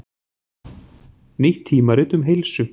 Nýtt tímarit um heilsu